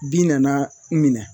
Bin nana n minɛ